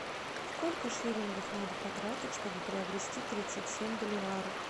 сколько шиллингов надо потратить чтобы приобрести тридцать семь боливаров